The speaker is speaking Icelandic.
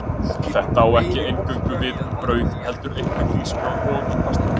Þetta á ekki eingöngu við um brauð, heldur einnig hrísgrjón og pasta.